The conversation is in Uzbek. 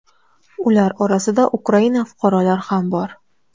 Ular orasida Ukraina fuqarolari ham bor.